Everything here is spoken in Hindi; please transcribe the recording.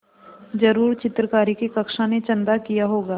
ज़रूर चित्रकारी की कक्षा ने चंदा किया होगा